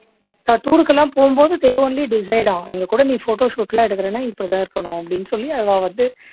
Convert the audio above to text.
நான் tour க்கு எல்லாம் போகும் போது they only decide ஆம் எங்க கூட நீ photo shoot எல்லாம் எடுக்குறன்னா இப்படி தான் இருக்கணும் அப்படின்னு சொல்லி அவா வந்து